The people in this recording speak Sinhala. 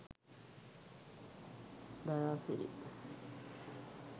dayasiri